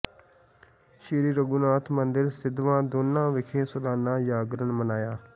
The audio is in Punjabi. ਸ੍ਰੀ ਰਘੂਨਾਥ ਮੰਦਿਰ ਸਿਧਵਾਂ ਦੋਨਾ ਵਿਖੇ ਸਾਲਾਨਾ ਜਾਗਰਨ ਮਨਾਇਆ